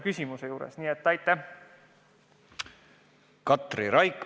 Katri Raik, palun!